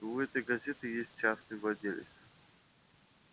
у этой газеты есть частный владелец